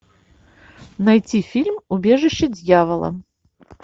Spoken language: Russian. найти фильм убежище дьявола